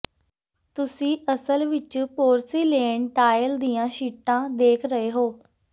ਤੁਸੀਂ ਅਸਲ ਵਿੱਚ ਪੋਰਸਿਲੇਨ ਟਾਇਲ ਦੀਆਂ ਸ਼ੀਟਾਂ ਦੇਖ ਰਹੇ ਹੋ